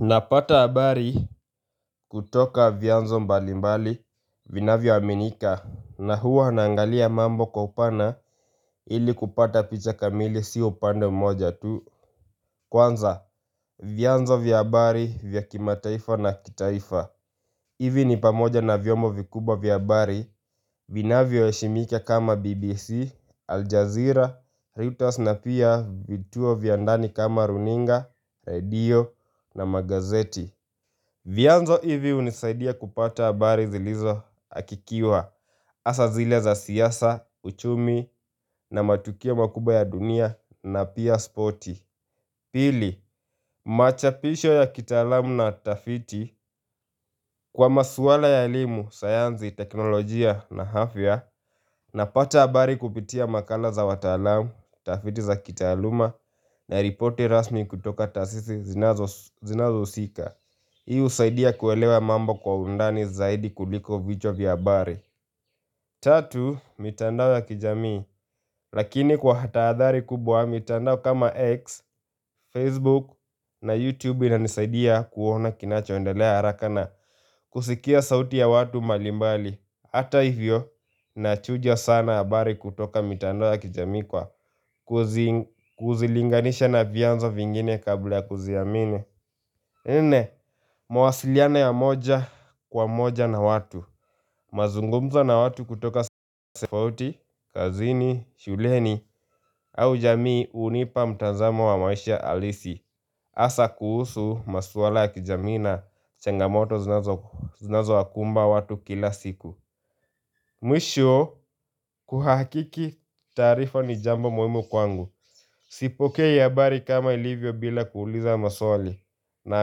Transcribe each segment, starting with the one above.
Napata habari kutoka vyanzo mbali mbali vinavyo aminika na huwa naangalia mambo kwa upana ili kupata picha kamili sio upande mmoja tu Kwanza vyanzo vya habari vya kimataifa na kitaifa hivi ni pamoja na vyombo vikubwa vya habari vina vyo heshimika kama BBC, Aljazeera, Reuters na pia vituo vya ndani kama runinga, redio na magazeti vyanzo hivi hunisaidia kupata habari zilizo hakikiwa hasa zile za siasa, uchumi na matukio makubwa ya dunia na pia spoti Pili, machapisho ya kitaalamu na tafiti kwa maswala ya elimu, sayansi, teknolojia na afya na pata habari kupitia makala za wataalamu, tafiti za kitaaluma na ripoti rasmi kutoka taasisi zinazo husika Hii husaidia kuelewa mambo kwa undani zaidi kuliko vichwa vya habari Tatu, mitandao ya kijamii Lakini kwa tahadhari kubwa mitandao kama X, Facebook na YouTube inanisaidia kuona kinachoendelea haraka na kusikia sauti ya watu mbalimbali Hata hivyo, nachuja sana habari kutoka mitandao ya kijamii kwa kuzilinganisha na vyanzo vingine kabla ya kuziamini Nne, mawasiliano ya moja kwa moja na watu mazungumzo na watu kutoka sehemu tofauti, kazini, shuleni au jamii hunipa mtazamo wa maisha halisi hasa kuhusu maswala ya kijamii na changamoto zinazo wakumba watu kila siku Mwisho kuhakiki taarifa ni jambo muhimu kwangu Sipokei habari kama ilivyo bila kuuliza maswali na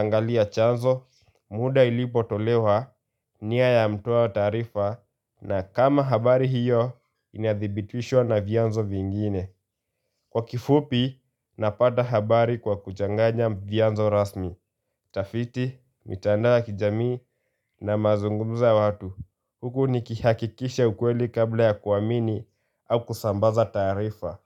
angalia chanzo muda ilipo tolewa nia ya mtoa taarifa na kama habari hiyo inadhibitishwa na vyanzo vingine. Kwa kifupi, napata habari kwa kuchanganya vyanzo rasmi. Utafiti, mitandao ya kijami na mazungumzo ya watu. Huku nikihakikisha ukweli kabla ya kuamini au kusambaza taarifa.